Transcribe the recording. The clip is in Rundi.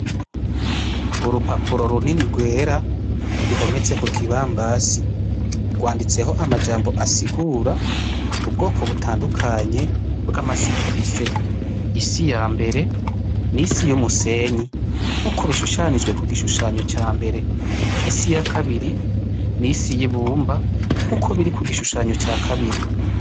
Urupapuro runini rwera ruhometse kukibambazi, n'urupapuro ruriko amajambo asigura ubwoko bw'amasi dufise. Isi yamber n'isi y'umusenyi nkuko bishushanijwe kugishushanyo cambere, isi yakabiri n'isi y'ibumba nkuko biri kugishushanyo ca kabiri.